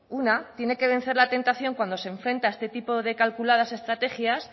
una tiene que vencer la tentación cuando se enfrenta a este tipo de calculadas estrategias